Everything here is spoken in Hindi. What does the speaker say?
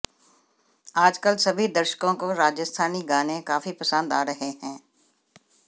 आज कल सभी दर्शकों को राजस्थानी गाने काफी पसंद आ रहे हैं